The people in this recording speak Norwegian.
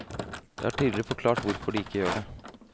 Jeg har tidligere forklart hvorfor de ikke gjør det.